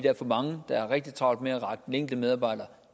er for mange der har rigtig travlt med at rakke den enkelte medarbejder